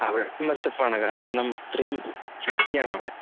അവിടെ MS F ആണ് കാരണം അത്രയും ശക്തിയാണ് അവിടെ.